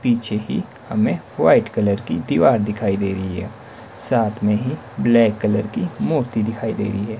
पीछे की हमें व्हाइट कलर की दीवार दिखाई दे रही है साथ में ही ब्लैक कलर की मूर्ती दिखाई दे रही है।